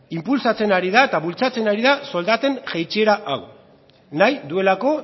inpulsatzen ari da eta bultzatzen ari da soldaten jaitsiera hau nahi duelako